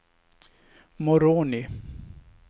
Moroni